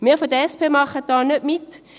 Wir von der SP machen da nicht mit.